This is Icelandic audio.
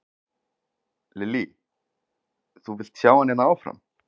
Lillý: Þú vilt sjá hann hérna áfram?